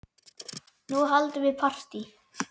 Nú höldum við partí!